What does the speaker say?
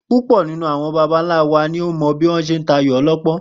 Púpò̩ nínú àwo̩n baba ńlá wa ni ó mò̩ bí wó̩n s̩e ń ta ayò o̩ló̩pó̩n